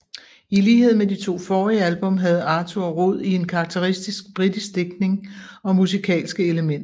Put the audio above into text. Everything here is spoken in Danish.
I lighed med de to forrige album havde Arthur rod i en karakteristisk britisk digtning og musikalske elementer